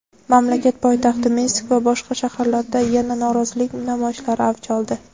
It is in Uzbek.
mamlakat poytaxti Minsk va boshqa shaharlarda yana norozilik namoyishlari avj oldi.